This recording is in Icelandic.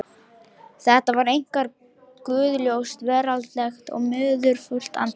Þetta var einkar guðlaust, veraldlegt og munúðarfullt andlit.